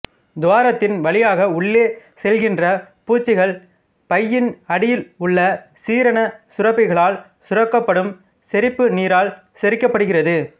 துவாரத்தின் வழியாக உள்ளே செல்கின்ற பூச்சிகள் பையின் அடியில் உள்ள சீரண சுரப்பிகளால் சுரக்கப்படும் செரிப்பு நீரால் செரிக்கப்படுகிறது